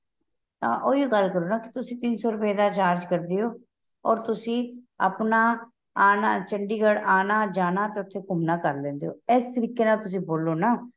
ਹਾਂ ਉਹੀ ਹੋ ਗੱਲ ਕਰੋ ਨਾ ਕੀ ਤੁਸੀਂ ਤਿੰਨ ਸ਼ੋ ਰੁਪਏ ਦਾ charge ਕਰਦੇ ਹੋ ਔਰ ਤੁਸੀਂ ਆਪਣਾਂ ਆਣਾ ਚੰਡੀਗੜ੍ਹ ਆਣਾ ਜਾਣਾ ਤੇ ਉਥੇ ਘੁੱਮਣਾ ਕਰ ਲੈਂਦੇ ਹੋ ਇਸ ਤਰੀਕੇ ਨਾਲ ਤੁਸੀਂ ਬੋਲੋਂ ਨਾ